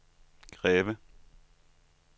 Greve